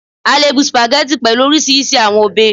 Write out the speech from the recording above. A le bu Spaghetti pẹlu orisirisi awọn obe